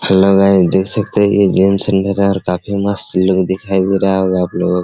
hello guys देख सकते है ये काफी मस्त लुक दिखाई दे रहा होगा आप लोगो को --